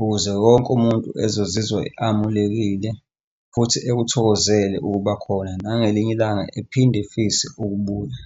ukuze wonke umuntu ezozizwa amulekile futhi akuthokozele ukuba khona nangelinye ilanga ephinde efise ukubuya.